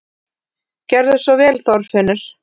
Gerðu svo vel, Þorfinnur!